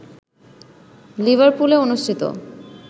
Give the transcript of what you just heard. লিভারপুলে অনুষ্ঠিত